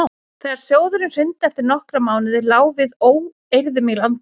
þegar sjóðurinn hrundi eftir nokkra mánuði lá við óeirðum í landinu